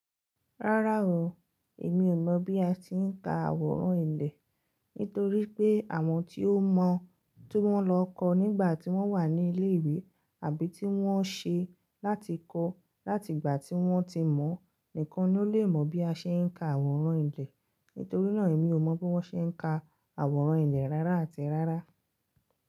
Rárá o, èmi ò mọ̀ bí a ti ń ka àwòrán ilẹ̀. Nítorí pé àwọn tí ó mọ̀ tó wọn lọ kọ́ nígbà tí wọ́n wà ní ilé ìwé àbí tí wọ́n ṣe láti kọ́ láti ìgbà tí wọ́n ti mọ̀ nìkan ni ó lè mọ̀ bí a ṣe ń ka àwòrán ilẹ̀. Nítorí náà èmi ò mọ̀ bí wọ́n ṣe ń ka àwòrán ilẹ̀ rárá àti rárá.